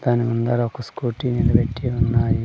దాని ముందర ఒక్క స్కూటీ నిలబెట్టి ఉన్నాయి.